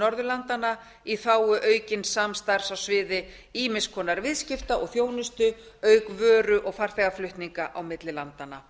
norðurlanda í þágu aukins samstarfs á svið ýmiss konar viðskipta og þjónustu auk vöru og farþegaflutninga á milli landanna